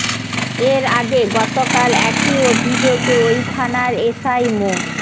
এর আগে গতকাল একই অভিযোগে ওই থানার এসআই মো